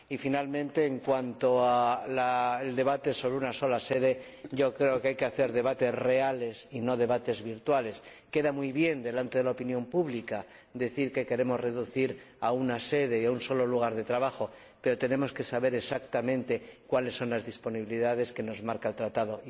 Y, por último, en cuanto al debate sobre una sola sede, yo creo que hay que hacer debates reales y no debates virtuales. Queda muy bien delante de la opinión pública decir que queremos limitarnos a una sede y a un solo lugar de trabajo, pero tenemos que saber exactamente cuáles son las posibilidades que nos marca el Tratado.